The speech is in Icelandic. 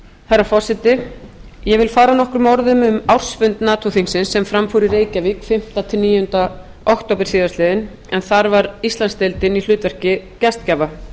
herra forseti ég vil fara nokkrum orðum um ársfund nato þingsins sem fram fór í reykjavík fimmta til níundu október síðastliðinn en þar var íslandsdeildin í hlutverki gestgjafa